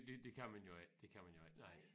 Det det kan man jo ikke det kan man jo ikke nej